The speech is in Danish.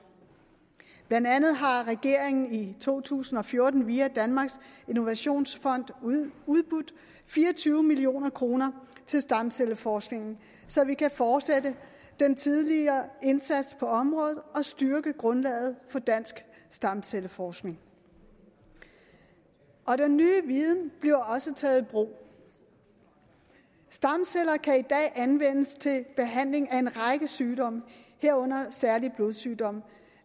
blandt andet har regeringen i to tusind og fjorten via danmarks innovationsfond udbudt fire og tyve million kroner til stamcelleforskning så vi kan fortsætte den tidligere indsats på området og styrke grundlaget for dansk stamcelleforskning og den nye viden bliver også taget i brug stamceller kan i dag anvendes til behandling af en række sygdomme herunder særlig blodsygdomme